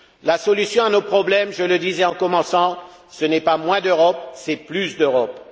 La solution à nos problèmes, je le disais en commençant, ce n'est pas moins d'Europe, c'est plus d'Europe!